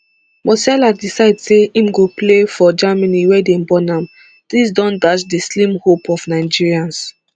musiala decide say im go play for germany wia dem born am dis don dash di slim hope of nigerians